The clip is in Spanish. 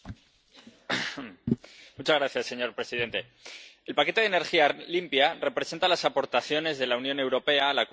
Señor presidente, el paquete de energía limpia representa las aportaciones de la Unión Europea al Acuerdo de París sobre el Cambio Climático.